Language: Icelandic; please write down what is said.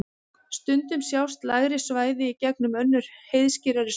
Stundum sjást lægri svæði í gegnum önnur heiðskírari svæði.